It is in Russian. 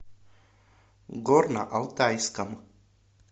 горно алтайском